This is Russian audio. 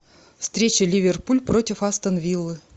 встреча ливерпуль против астон виллы